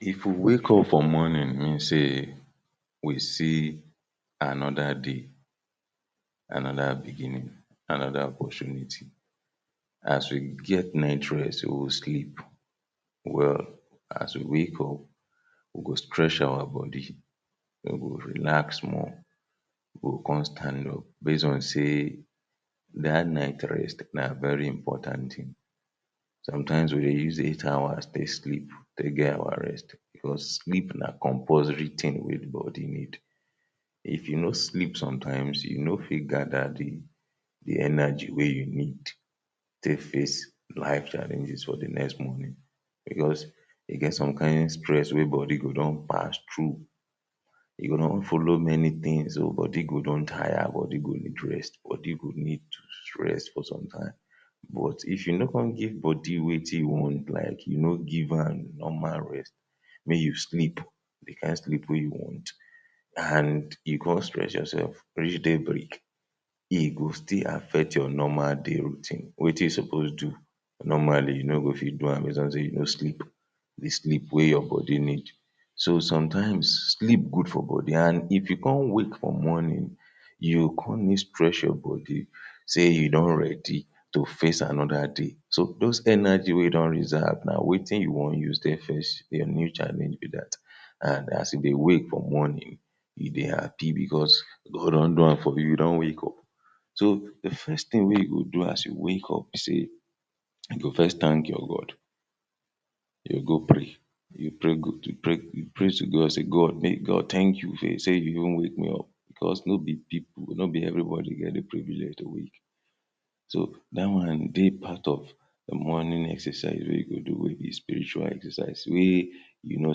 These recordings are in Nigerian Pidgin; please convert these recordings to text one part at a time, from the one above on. If we wake up for morning mean say we see another day, another beginning, another opportunity. As we get night rest we go sleep well. As we wake up, we go stretch our body. then we go relax small, we go come stand up base on say dat night rest na very important thing. Sometimes we dey use eight hours take sleep, take get our rest because sleep na compulsory thing wey the body need. If you no sleep sometimes you no fit gather the the energy wey you need take face life challenges for the next morning because e get some kain stress wey body go don pass through. E go don follow many things, body go don tire, body go need rest, body go need rest for some time. But if you no come give body wetin e want, like you no give am normal rest, make you sleep the kain sleep wey you want and and you come stress yourself reach daybreak, e go still affect your normal day routine. Wetin you suppose do normally, you no go fit do am base on say you no sleep the sleep wey your body need. So sometimes, sleep good for body and if you come wake for morning, you come need stretch your body say you don ready to face another day so those energy wey you don reserve na wetin you wan use face your day challenge be dat and as you dey wake for morning you dey happy because God don do am for you, you don wake up. So the first thing wey you go do as you wake up be say you go first thank your God you go go pray? You pray to God say “God thank you say you don wake me up because no be people, no be everybody get the privilege to wake” so dat one dey part of morning exercise wey you go do wey be spiritual exercise wey you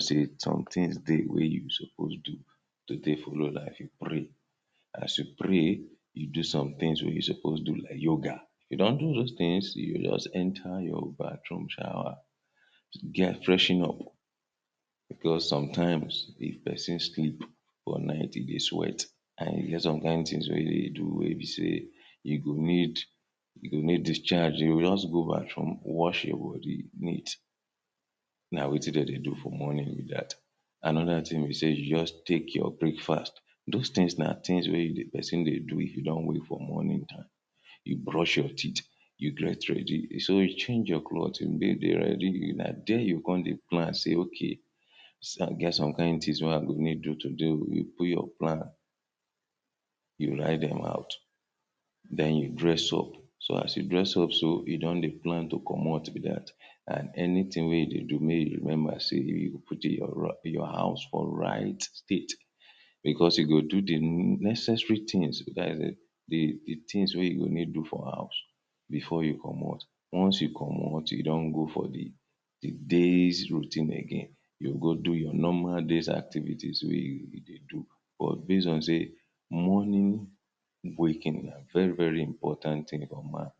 say some things dey wey you suppose do to take follow dat? You pray. As you pray you do somethings wey you suppose do like yoga. If you don do those things you go just enter your bathroom shower, freshen up because sometimes if person sleep for night e dey sweat and e get some kain things wey you dey do wey be say you go need you go need discharge. You go just go bathroom wash your body neat, na wetin dem dey do for morning be dat. Another thing be say you just take your breakfast. Those things na things wey person dey do if you don wake for morning You brush your teeth, you get you ready. So, you change your cloth? Na there you go come dey plan say “ok, e get some kain things wey I go need do today oo”. You put your plan, you write them out, den you dress up. So as you dress up so you don dey plan to comot be dat and anything wey you dey do make you remember say? put your house for right right state because you go do the necessary things so dat is it the things wey you need do for house before you comot. Once you comot, you don go for the day's routine again. You go do your normal day's activities wey? you dey do but base on say morning waking na very very important thing for man.